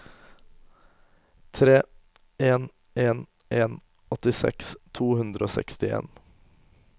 tre en en en åttiseks to hundre og sekstien